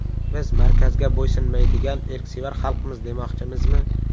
Biz markazga bo‘ysunmaydigan erksevar xalqmiz demoqchimizmi?